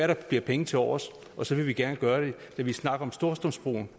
der bliver penge tilovers og så vil vi gerne gøre det da vi snakkede om storstrømsbroen